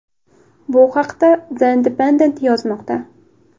Bu haqda The Independent yozmoqda .